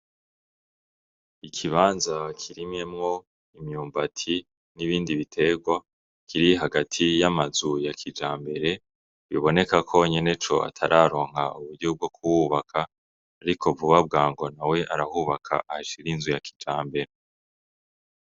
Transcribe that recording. Ikibanza kirimyemwo imyumbati n'ibindi biterwa kiri hagati y'amazu ya kijambere, biboneka ko nyeneco atararonka uburyo bwokuhubaka ariko vuba bwangu nawe arahubaka ashir'inzu ya kijambere.